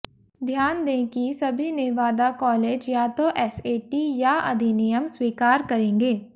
ध्यान दें कि सभी नेवादा कॉलेज या तो एसएटी या अधिनियम स्वीकार करेंगे